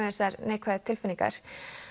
þessar neikvæðu tilfinningar